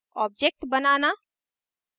object बनाना